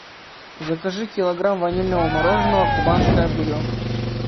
закажи килограмм ванильного мороженого кубанская буренка